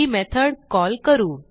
ही method call करू